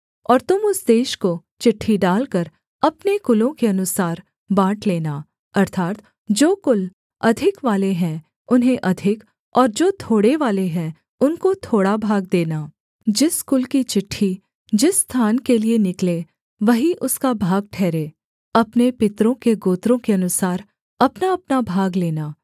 और तुम उस देश को चिट्ठी डालकर अपने कुलों के अनुसार बाँट लेना अर्थात् जो कुल अधिकवाले हैं उन्हें अधिक और जो थोड़ेवाले हैं उनको थोड़ा भाग देना जिस कुल की चिट्ठी जिस स्थान के लिये निकले वही उसका भाग ठहरे अपने पितरों के गोत्रों के अनुसार अपनाअपना भाग लेना